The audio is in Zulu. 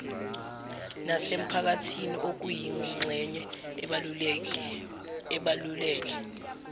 nasemphakathini okuyingxenye ebaluleke